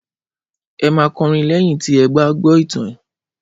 Ẹ máa kọrin lẹ́yìn tí ẹ gbá gbọ́ ìtàn!